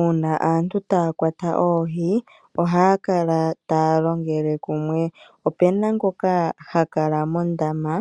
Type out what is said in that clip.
Uuna aantu taya kwata oohi ohaya longele kumwe opena ngoka ha kala mondama